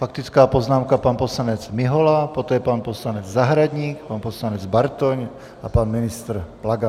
Faktická poznámka, pan poslanec Mihola, poté pan poslanec Zahradník, pan poslanec Bartoň a pan ministr Plaga.